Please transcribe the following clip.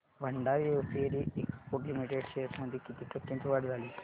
Bhandari hosiery exports limited shares मध्ये किती टक्क्यांची वाढ झाली